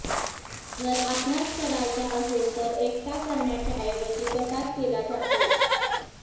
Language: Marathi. जर अभ्यास करायचा असेल तर एकटा करण्याच्या ऐवजी गटात केला जातो